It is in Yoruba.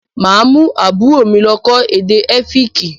Mà á mú àbúrò mi lọ́ kọ́ èdè Ẹ́fíìkì.